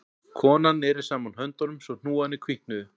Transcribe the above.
Konan neri saman höndunum svo hnúarnir hvítnuðu